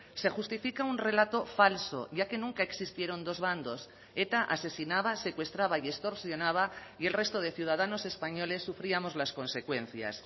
se justifica un relato falso ya que nunca existieron dos bandos eta asesinaba secuestraba y extorsionaba y el resto de ciudadanos españoles sufríamos las consecuencias